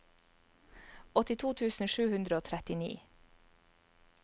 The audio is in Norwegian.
åttito tusen sju hundre og trettini